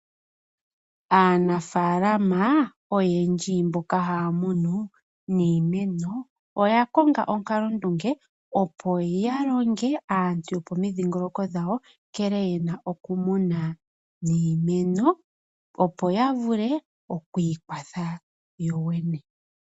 Aanafaalama oyendji mboka haya munu niimeno oya konga onkalondunge opo yalonge aantu yopomidhingoloko dhawo nkene yena okumuna niimeno opo yavule okwiikwatha yoyene .